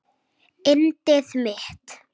Yndið mitt!